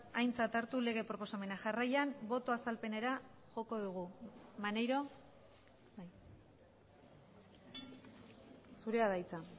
aintzat hartu lege proposamena jarraian boto azalpenera joko dugu maneiro zurea da hitza